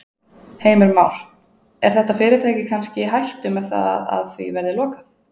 Heimir Már: Er þetta fyrirtæki kannski í hættu með það að því verði lokað?